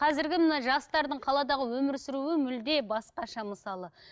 қазіргі мына жастардың қаладағы өмір сүруі мүлде басқаша мысалы